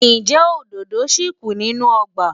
Ǹjẹ́ òdòdó ṣì kù nínú ọgbà?